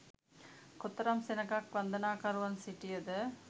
කොතරම් සෙනඟක් වන්දනාකරුවන් සිටියද